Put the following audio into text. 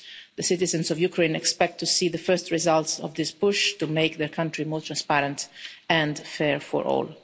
The citizens of Ukraine expect to see the first results of this push to make their country more transparent and fair for all.